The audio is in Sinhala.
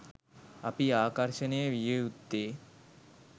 අපි ආකර්ෂණය විය යුත්තේ